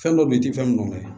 Fɛn dɔ be yen i ti fɛn min kɛ